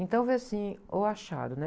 Então foi assim, o achado, né?